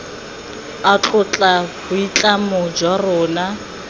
a tlotla boitlamo jwa rona